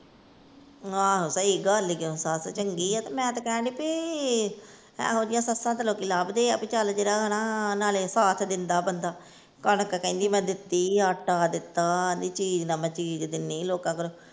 ਆਹੋ ਸਹੀ ਗੱਲ ਈ ਓ ਸੱਸ ਚੰਗੀ ਏ ਤੇ ਮੈ ਤੇ ਕਹਿਣ ਦਈ ਭੀ ਇਹੋ ਜਿਹੀਆਂ ਸੱਸਾਂ ਤੇ ਲੋਕੀ ਲੱਬਦੇ ਆ ਭੀ ਚਲ ਜਿਹੜਾ ਹਨਾ ਨਾਲੇ ਸਾਥ ਦੇਂਦਾ ਬੰਦਾ ਕਣਕ ਕਹਿੰਦੀ ਮੈ ਦਿੱਤੀ, ਆਟਾ ਦਿੱਤਾ, ਆਹਂਦੀ ਚੀਜ ਨਾ ਮੈ ਚੀਜ਼ ਦਿੰਨੀ ਲੋਕਾ ਘਰੋ।